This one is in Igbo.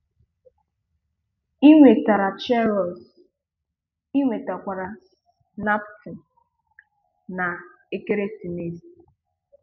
Ị nwetara cheerios, ị nwetakwara naptime, na ekeresimesi